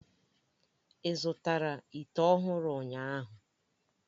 Ị zụtara ite ọhụrụ ụnyahụ?